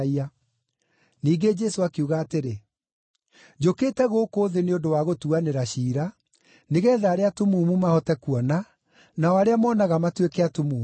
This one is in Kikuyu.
Ningĩ Jesũ akiuga atĩrĩ, “Njũkĩte gũkũ thĩ nĩ ũndũ wa gũtuanĩra ciira, nĩgeetha arĩa atumumu mahote kuona, nao arĩa monaga matuĩke atumumu.”